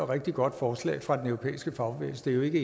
rigtig godt forslag fra den europæiske fagbevægelse det er jo ikke